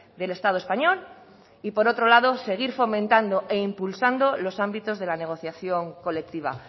del estado español y por otro lado seguir fomentando e impulsando los ámbitos de la negociación colectiva